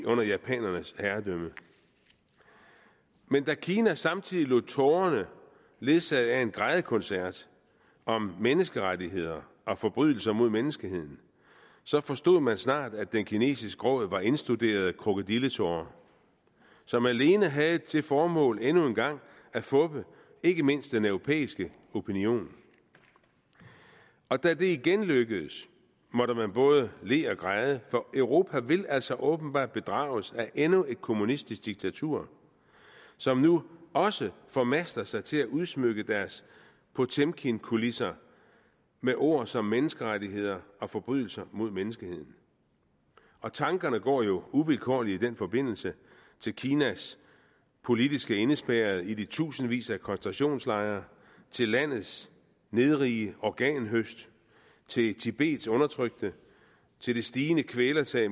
under japanernes herredømme men da kina samtidig lod tårerne ledsage af en grædekoncert om menneskerettigheder og forbrydelser mod menneskeheden så forstod man snart at den kinesiske gråd var indstuderede krokodilletårer som alene havde til formål endnu en gang at fuppe ikke mindst den europæiske opinion da det igen lykkedes måtte man både le og græde for europa vil altså åbenbart bedrages af endnu et kommunistisk diktatur som nu også formaster sig til at udsmykke deres potemkinkulisser med ord som menneskerettigheder og forbrydelser mod menneskeheden tankerne går jo uvilkårligt i den forbindelse til kinas politiske indespærrede i de tusindvis af koncentrationslejre til landets nedrige organhøst til tibets undertrykte til det stigende kvælertag